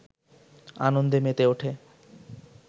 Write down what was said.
আনন্দে মেতে ওঠে